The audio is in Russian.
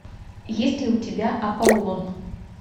есть ли у тебя аполлон